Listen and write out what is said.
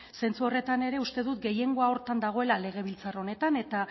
zentzu horretan ere uste dut gehiengoa horretan dagoela legebiltzar honetan eta